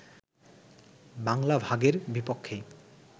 বাংলা ভাগের বিপক্ষেই